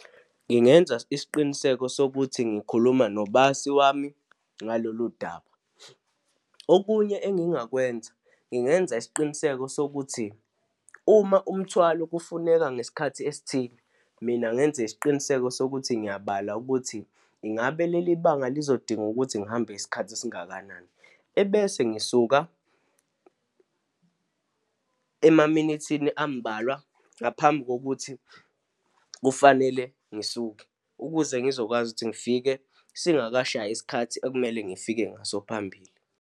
Ngingenza isiqiniseko sokuthi ngikhuluma nobasi wami ngalolu daba. Okunye engingakwenza, ngingenza isiqiniseko sokuthi uma umthwalo kufuneka ngesikhathi esithile, mina ngenze isiqiniseko sokuthi ngiyabala ukuthi ingabe leli banga lizodinga ukuthi ngihambe isikhathi esingakanani. Ebese ngisuka emaminithini ambalwa ngaphambi kokuthi kufanele ngisuke, ukuze ngizokwazi ukuthi ngifike singakashayi isikhathi ekumele ngifike ngaso phambili.